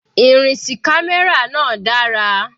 Ìrìn sí camera náà dára.